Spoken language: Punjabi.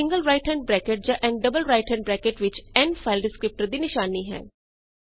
n single right hand bracket ਜਾਂ n double right hand bracket ਵਿੱਚ n ਫਾਈਲ ਡਿਸਕ੍ਰਿਪਟਰ ਦੀ ਨਿਸ਼ਾਨੀ ਹੈ